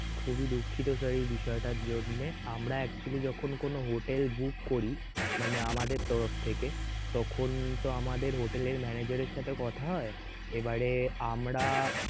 খুবই দুঃখিত sir এই বিষয়টার জন্যে আমরা actually যখন কোন hotel book করি মানে আমাদের তরফ থেকে তখন তো আমাদের hotel এর manager এর সাথে কথা হয় এবারে আমরা